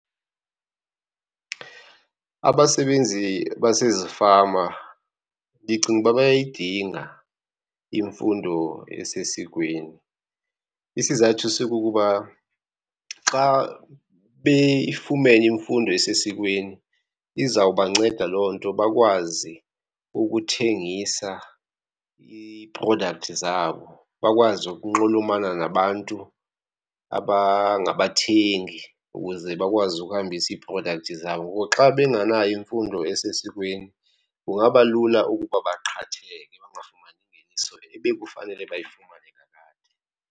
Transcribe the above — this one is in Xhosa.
Abasebenzi basezifama ndicinga uba bayayidinga imfundo esesikweni. Isizathu sikukuba xa beyifumene imfundo esesikweni izawubanceda loo nto bakwazi ukuthengisa iiprodakthi zabo, bakwazi ukunxulumana nabantu abangabathengi ukuze bakwazi ukuhambisa iiprodakthi zabo. Ngoku xa benganayo imfundo esesikweni kungaba lula ukuba baqhatheke bangafumani ngeniso ebekufanele bayifumane kakade.